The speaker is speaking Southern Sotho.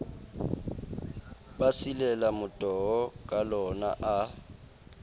ba silela motoho kalona a